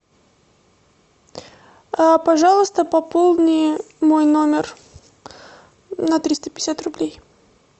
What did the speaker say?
пожалуйста пополни мой номер на триста пятьдесят рублей